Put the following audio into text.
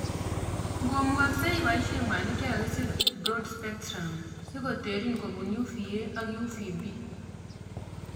Ngomukakse iboishe mwanik chekakisir "broad spectrum" sikoterin kobun uva ak uvb